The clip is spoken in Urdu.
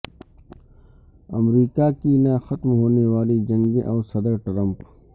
امریکہ کی نہ ختم ہونے والی جنگیں اور صدر ٹرمپ